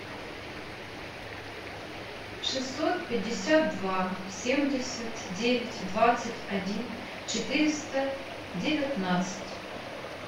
шестьсот пятьдесят два семьдесят девять двадцать один четыреста девятнадцать